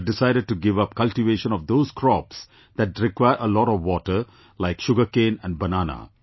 They have decided to give up cultivation of those crops that require a lot of water, like sugarcane and banana